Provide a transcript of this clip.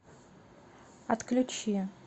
отключи